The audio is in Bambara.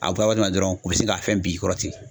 A bɔra waati min la dɔrɔn u bi se k'a fɛn bi kɔrɔ ten.